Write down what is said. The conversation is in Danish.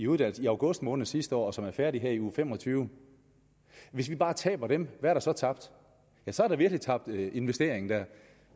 uddannelse i august måned sidste år og som er færdige her i uge femogtyvende hvis vi bare taber dem hvad er der så tabt så er der virkelig tabt en investering der